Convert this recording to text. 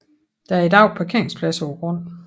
Der er i dag parkeringsplads på grunden